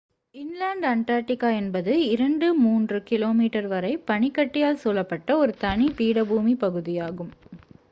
inland Antarctica என்பது 2-3 கிமீ வரை பனிக்கட்டியால் சூழப்பட்ட ஒரு தனி பீடபூமி பகுதியாகும்